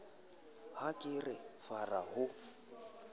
ha ke re fara ho